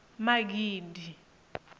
magidi